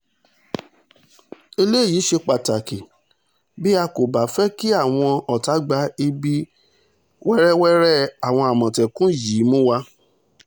eléyìí ṣe pàtàkì o bí a kò bá fẹ́ kí àwọn ọ̀tá gbá ibi wẹ́rẹ́wẹ́rẹ́ àwọn àmọ̀tẹ́kùn yìí mú wa